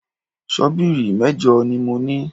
Ṣọ́bìrì méjì ni mo ní